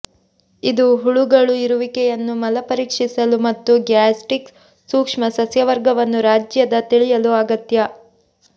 ಇದು ಹುಳುಗಳು ಇರುವಿಕೆಯನ್ನು ಮಲ ಪರೀಕ್ಷಿಸಲು ಮತ್ತು ಗ್ಯಾಸ್ಟ್ರಿಕ್ ಸೂಕ್ಷ್ಮಸಸ್ಯವರ್ಗವನ್ನು ರಾಜ್ಯದ ತಿಳಿಯಲು ಅಗತ್ಯ